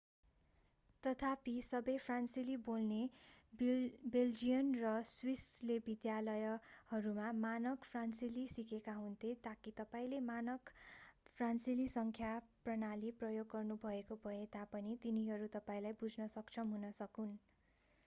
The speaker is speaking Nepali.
तथापि सबै फ्रान्सेली बोल्ने बेल्जियन र स्विसले विद्यालयहरूमा मानक फ्रान्सेली सिकेका हुन्थे ताकि तपाईंले मानक फ्रान्सेली सङ्ख्या प्रणाली प्रयोग गर्नुभएको भए तापनि तिनीहरू तपाईंलाई बुझ्न सक्षम हुन सकून्